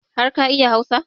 Har ka iya Hausa?